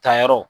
Tayɔrɔ